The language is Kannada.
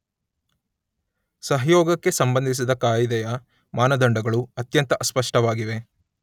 ಸಹಯೋಗಕ್ಕೆ ಸಂಬಂಧಿಸಿದ ಕಾಯಿದೆಯ ಮಾನದಂಡಗಳು ಅತ್ಯಂತ ಅಸ್ಪಷ್ಟವಾಗಿವೆ.